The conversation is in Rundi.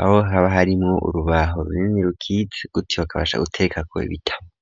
aho haba harimwo urubaho runini rukitse guti bakabasha gutekako ibitabo.